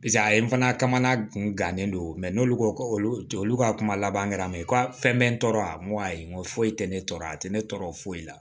Paseke a ye n fana kamana gundo n'olu ko olu ka kuma laban kɛra mɛ ko a fɛn bɛ n tɔɔrɔ a nko ayi nko foyi tɛ ne tɔɔrɔ a tɛ ne tɔɔrɔ foyi la